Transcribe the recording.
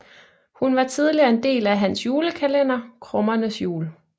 Hun var tidligere en del af hans julekalender Krummernes Jul